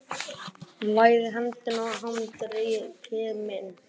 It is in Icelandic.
Hún læðir hendinni í handarkrika minn.